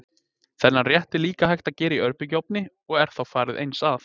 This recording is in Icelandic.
Þennan rétt er líka hægt að gera í örbylgjuofni og er þá farið eins að.